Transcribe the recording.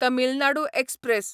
Tamil Nadu express